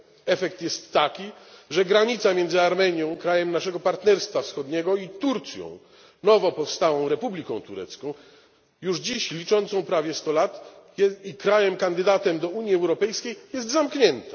Efekt jest taki, że granica między Armenią krajem naszego Partnerstwa Wschodniego i Turcją, nowo powstałą Republiką Turcji, już dziś liczącą prawie sto lat i krajem kandydatem do Unii Europejskiej, jest zamknięta.